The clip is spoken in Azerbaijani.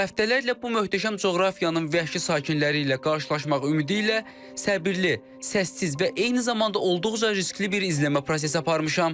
Həftələrlə bu möhtəşəm coğrafiyanın vəhşi sakinləri ilə qarşılaşmaq ümidi ilə səbirli, səssiz və eyni zamanda olduqca riskli bir izləmə prosesi aparmışam.